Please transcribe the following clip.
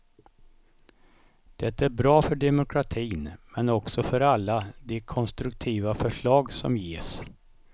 Det är bra för demokratin men också för alla de konstruktiva förslag som ges.